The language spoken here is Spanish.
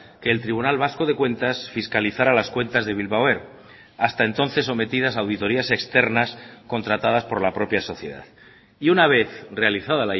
que el tribunal vasco de cuentas fiscalizará las cuentas de bilbao air hasta entonces sometidas a auditorías externas contratadas por la propia sociedad y una vez realizada